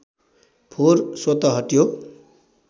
फोहोर स्वतः हट्यो